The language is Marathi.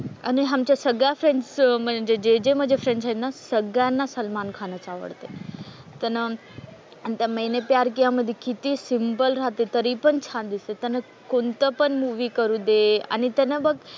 आणि आमच्या सगळ्या फ्रेंड्सचं म्हणजे जे जे माझ्या फ्रेंड्स आहेत ना सगळ्यांना सलमान खानच आवडतो. त्यांना आणि त्या मैंने प्यार किया मधे किती सिम्पल राहते तरी पण छान दिसते. त्यानं कोणतं पण मूव्ही करू दे आणि त्यानं बघ,